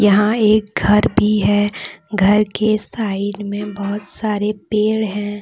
यहां एक घर भी है घर के साइड में बहुत सारे पेड़ हैं।